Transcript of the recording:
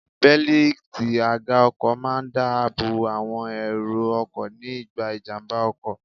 Bélítì àga ọkọ̀ máa ń dá àbọ̀ àwọn èrò ọkọ̀ ní ìgbà ìjàmbá ọkọ̀.